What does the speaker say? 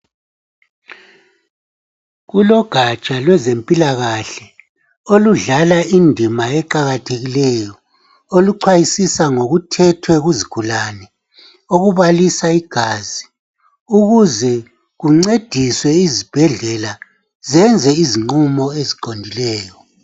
Kulogatsha lwezempilakahle oludlala indima eqakathekileyo . Oluxwayisiswa ngokuthethwe kuzigulane okubalisa igazi ukuze kuncedise izibhedlela zenze izinqumo esiqondileyo.